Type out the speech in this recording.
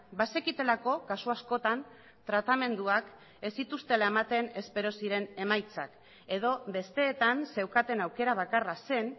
bazekitelako kasu askotan tratamenduak ez zituztela ematen espero ziren emaitzak edo besteetan zeukaten aukera bakarra zen